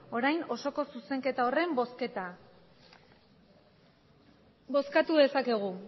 orain osoko zuzenketa horren bozketa bozkatu dezakegu